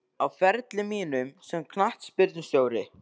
Á ferli mínum sem knattspyrnustjóri?